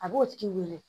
A b'o tigi wele